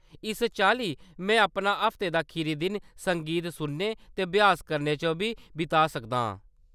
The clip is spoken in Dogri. इस चाल्ली, में अपना हफ्ते दा खीरी दिन संगीत सुनने ते अभ्यास करने च बी बिता सकदा आं।